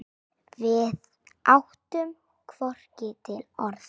Við áttum hvorugt til orð.